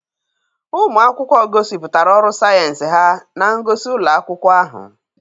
Ụmụ akwụkwọ gosipụtara ọrụ sayensị ha na ngosi ụlọ akwụkwọ ahụ.